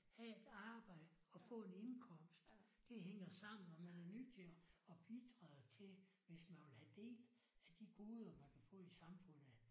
Have et arbejde og få en indkomst. Det hænger sammen og man er nødt til at at bidrage til det hvis man vil have del af de goder man kan få i samfundet